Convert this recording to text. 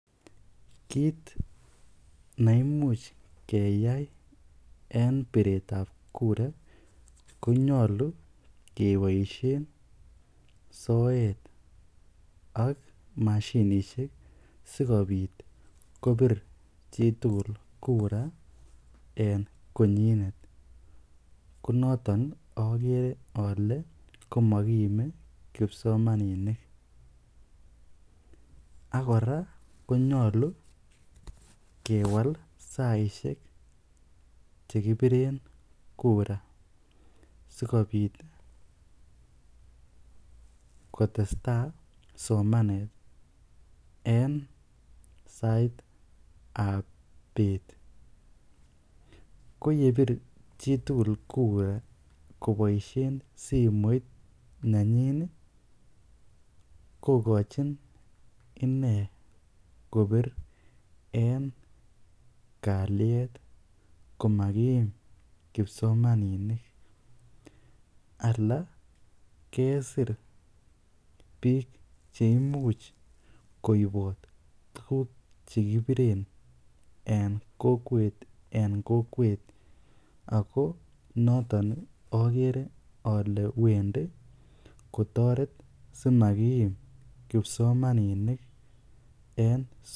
Kiit neimuch keyai en biretab kura konyolu keboishen soet ak mashinishek sikobit kobir chitukul kura en konyinet, ko noton okere olee komokiime kipsomaninik ak kora konyolu kewal saishek chekibiren kura sikobit kotesta somanet en saitab beet, ko yebir chitukul kura koboishen simoit nenyin kokochin inee kobir en kaliet komakiim kipsomaninik alaa kesir biik cheimuch koibot tukuk chekibiren en kokwet en kokwet ak ko noton okere olee wendi kotoret simakiim kipsomaninik en sukul.